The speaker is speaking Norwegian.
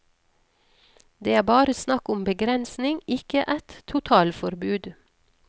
Det er bare snakk om begrensning, ikke et totalforbud.